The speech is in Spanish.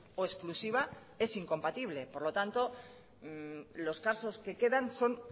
o exclusiva es incompatible por lo tanto los casos que quedan son